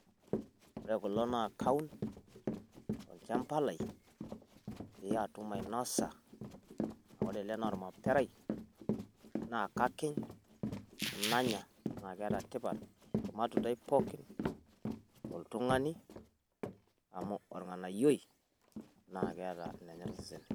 Ore kuloo naa kauun to ilchaamba lai pee atum ainosaa. Amu ore elee naa maitherai na kakiy'in nanyaa naa keeta ntipaat maatundai pookin to iltung'ani amu olng'onayoi naa keeta nenyeere seesen.